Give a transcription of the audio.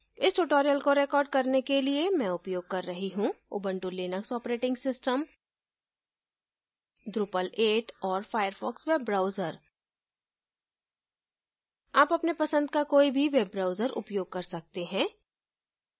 इस tutorial को record करने के लिए मैं उपयोग कर रही हूँ Ubuntu Linux operating system drupal 8 और firefox वेब ब्राउजर आप अपने पसंद का कोई भी वेब ब्राउजर उपयोग कर सकते हैं